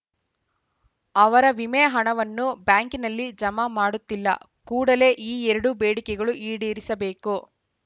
ಅವರ ವಿಮೆ ಹಣವನ್ನು ಬ್ಯಾಂಕಿನಲ್ಲಿ ಜಮಾ ಮಾಡುತ್ತಿಲ್ಲ ಕೂಡಲೇ ಈ ಎರಡು ಬೇಡಿಕೆಗಳು ಈಡೇರಿಸಬೇಕು